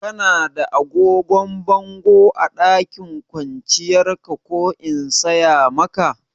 Kana da agogon bango a ɗakin kwanciyar ka ko in saya maka?